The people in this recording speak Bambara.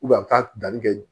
a bɛ taa danni kɛ